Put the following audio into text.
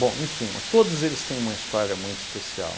Bom, em suma, todos eles têm uma história muito especial.